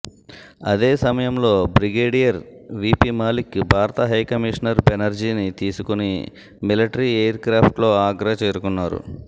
అదే సమయంలో brigadier V P Malik భారత హై కమిషనర్ బెనర్జీని తీసుకుని మిలటరీ ఎయిర్ క్రాఫ్ట్లో ఆగ్రా చేరుకున్నారు